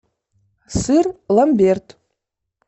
сыр ламберт